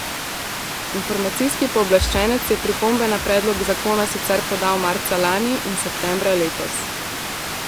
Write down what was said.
Informacijski pooblaščenec je pripombe na predlog zakona sicer podal marca lani in septembra letos.